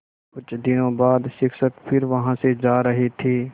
कुछ दिनों बाद शिक्षक फिर वहाँ से जा रहे थे